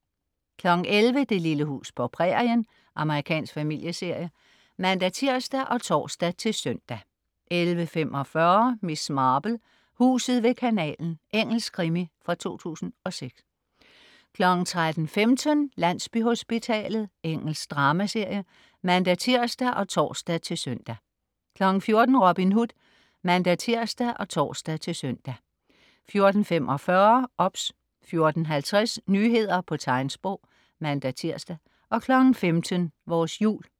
11.00 Det lille hus på prærien. Amerikansk familieserie (man-tirs og tors-søn) 11.45 Miss Marple: Huset ved kanalen. Engelsk krimi fra 2006 13.15 Landsbyhospitalet. Engelsk dramaserie (man-tirs og tors-søn) 14.00 Robin Hood (man-tirs og tors-søn) 14.45 OBS 14.50 Nyheder på tegnsprog (man-tirs) 15.00 Vores jul